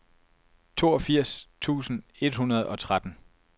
toogfirs tusind et hundrede og tretten